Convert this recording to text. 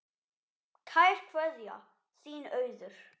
Kær kveðja, þín Auður